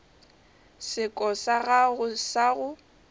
seko sa gago sa go